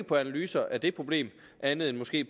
på analyser af det problem andet end måske